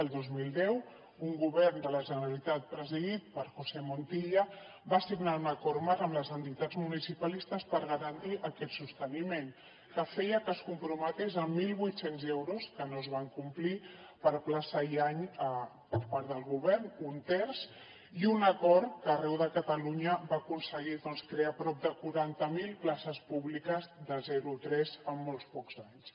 el dos mil deu un govern de la generalitat presidit per josé montilla va signar un acord marc amb les entitats municipalistes per garantir aquest sosteniment que feia que es comprometés amb mil vuit cents euros que no es van complir per plaça i any per part del govern un terç i un acord que arreu de catalunya va aconseguir doncs crear prop de quaranta mil places públiques de zero tres en molt pocs anys